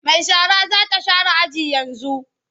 Mai shara za ta share aji yanzu.